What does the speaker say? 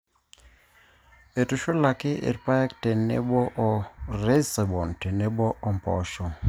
eitushulaki irpaek tenebo o rhizobium tenebo ompoosho